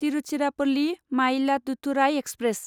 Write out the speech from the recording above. Tiruchirappalli Mayiladuthurai express